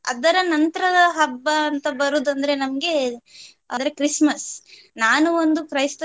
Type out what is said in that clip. ಅದರ ನಂತರದ ಹಬ್ಬ ಅಂತ ಬರುದಂದ್ರೆ ನಮ್ಗೆ ಅಂದ್ರೆ Christmas . ನಾನು ಒಂದು ಕ್ರೈಸ್ತ.